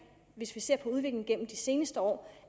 hvis vi ser på udviklingen gennem de seneste år